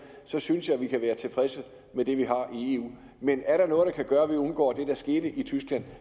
synes jeg vi kan være tilfredse med det vi har i eu men er der noget der kan gøre at vi undgår det der skete i tyskland